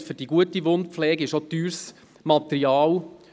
Und dafür braucht man teures Material.